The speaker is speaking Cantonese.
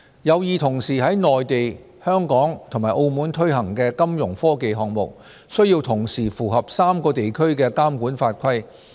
有意同時在內地、香港及澳門推行的金融科技項目，需要同時符合3個地區的監管法規。